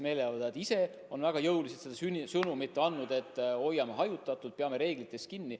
Meeleavaldajad ise on väga jõuliselt andnud edasi sõnumit, et oleme hajutatud, peame reeglitest kinni.